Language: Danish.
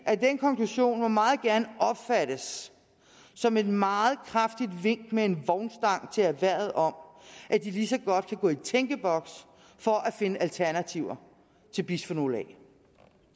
at den konklusion meget gerne må opfattes som et meget kraftigt vink med en vognstang til erhvervet om at de lige så godt kan gå i tænkeboks for at finde alternativer til bisfenol a